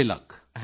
90 lakh